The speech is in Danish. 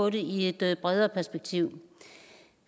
i et bredere perspektiv